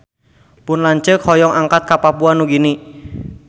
Pun lanceuk hoyong angkat ka Papua Nugini